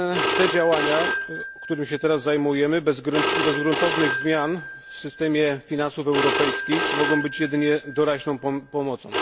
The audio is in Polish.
Te działania, którymi się teraz zajmujemy, bez gruntownych zmian w systemie finansów europejskich, mogą być jedynie doraźną pomocą.